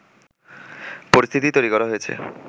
পরিস্থিতি তৈরি করা হয়েছে